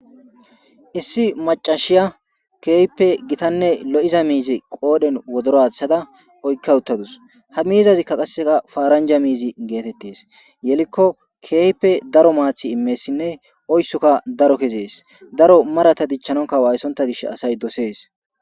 Issi macashiya keeype gitanne lo7iza miizi qoodhen wodoraththada oykka uttadus ha miizazikka qasseka faaranja miizi geetettes yelikko keeype daro maathi immessinne oyssokka daro kezees daro marata dichchanonka waayssonta gish asay dosees